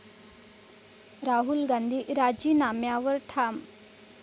राहुल गांधी राजीनाम्यावर ठाम?